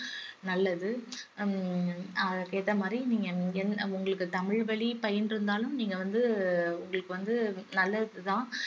நல்லது ஹம் அதுக்கேத்த மாதிரி நீங்க இங்க உங்களுக்கு தமிழ் வழி பயின்று இருந்தாலும் நீங்க வந்து உங்களுக்கு வந்து நல்லது தான்